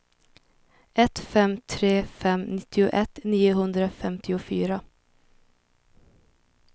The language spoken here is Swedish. ett fem tre fem nittioett niohundrafemtiofyra